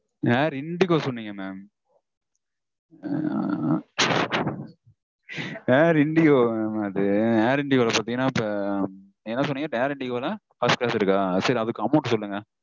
Air Indigo சொன்னீங்க mam. Air Indigo mam அது Air Indigo -ல பாத்தீங்கனா இப்போ என்ன சொன்னீங்க? First class இருக்கா? சரி அதுக்கு amount சொல்லுங்க